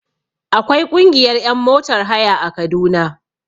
Akwai ƙungiyar ƴan motar haya a kaduna